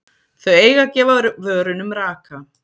Þau eiga að gefa vörunum raka.